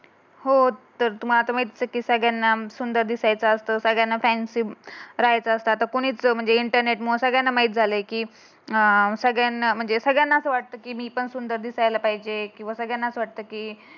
रायचा असतात आता कुणीच म्हणजे इंटरनेटमुळे सगळ्यांना माहीत झालय की अं सगळ्यांना म्हणजे सगळ्यांना असं वाटतं. मी पण सुंदर दिसायला पाहिजे. किंवा सगळ्यांना असं वाटते की